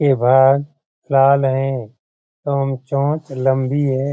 ए भाग लाल हैं एवं चोंच लम्बी है।